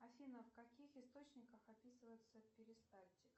афина в каких источниках описывается перистальтика